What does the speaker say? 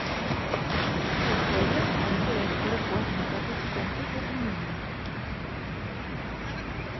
Ordføreren er ikke redd for å få et negativt stempel på kommunen.